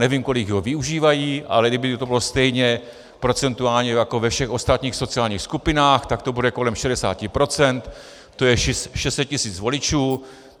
Nevím, kolik ho využívají, ale kdyby to bylo stejně procentuálně jako ve všech ostatních sociálních skupinách, tak to bude kolem 60 %, tj. 600 tisíc voličů.